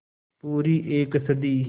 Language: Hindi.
पूरी एक सदी